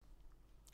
TV 2